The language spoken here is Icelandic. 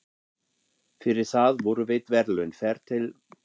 Fyrir það voru veitt verðlaun, ferð til